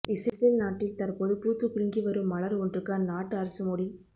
Israel நாட்டில் தற்போது பூத்துக்குலுங்கி வரும் மலர் ஒன்றுக்கு அந்நாட்டு அரசு மோடி